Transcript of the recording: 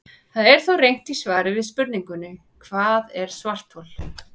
Það er þó reynt í svari við spurningunni Hvað er svarthol?